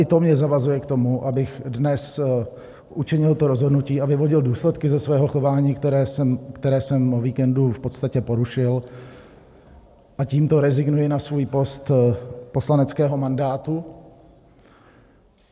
I to mě zavazuje k tomu, abych dnes učinil to rozhodnutí a vyvodil důsledky ze svého chování, které jsem o víkendu v podstatě porušil, a tímto rezignuji na svůj post poslaneckého mandátu.